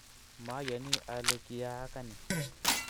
mayani ale kiyaaka ni